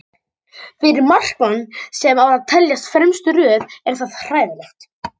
Fyrir markmann sem á að teljast í fremstu röð er það hræðilegt.